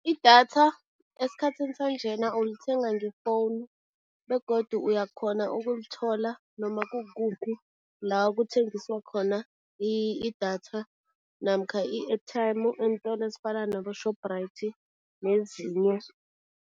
Idatha esikhathini sanjena ulithenga ngefowunu begodu uyakghona ukulithola noma kukuphi la kuthengiswa khona idatha namkha i-airtime eentolo ezifana nabo-Shoprite nezinye.